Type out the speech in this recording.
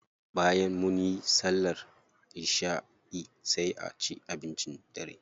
Bayan munyi sallar isha'i sai a ci abincin dare.